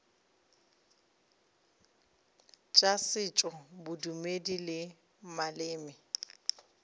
tša setšo bodumedi le maleme